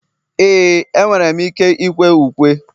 ee, enwere m ike ịkwe ukwe